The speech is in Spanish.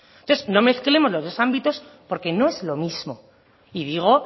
entonces no mezclemos los dos ámbitos porque no es lo mismo y digo